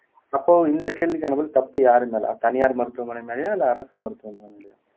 அப்போ இந்த கேள்விக்கான பதில் தப்பு யாரு மேலே தனியார் மருத்துவமனை மேலேயா இல்லை அரசு மருத்துவமனை மேலேயா